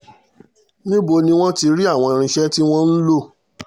níbo ni wọ́n ti rí àwọn irinṣẹ́ tí wọ́n ń lò